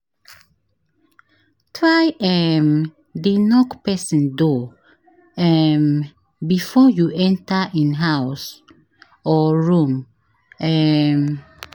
Try um de knock persin door um before you enter in house or room um